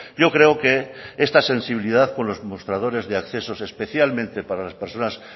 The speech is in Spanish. yo creo que esta sensibilidad por los mostradores de accesos especialmente para las personas